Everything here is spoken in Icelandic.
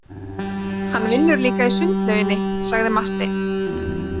Hann vinnur líka í sundlauginni, sagði Marteinn.